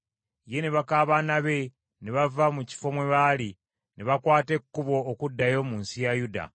Ye ne baka baana be, ne bava mu kifo mwe baali, ne bakwata ekkubo okuddayo mu nsi ya Yuda.